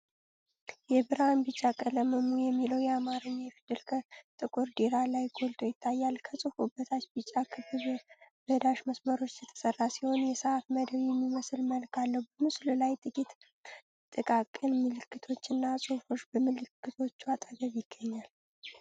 የብርሃን ቢጫ ቀለሙ "እሙ" የሚለው የአማርኛ ፊደል ከጥቁር ዳራ ላይ ጎልቶ ይታያል። ከጽሑፉ በታች ቢጫ ክብ በዳሽ መስመሮች የተሰራ ሲሆን፣ የሰዓት መደብ የሚመስል መልክ አለው። በምስሉ ላይ ጥቂት ጥቃቅን ምልክቶችና ጽሑፎች በምልክቶቹ አጠገብ ይገኛሉ።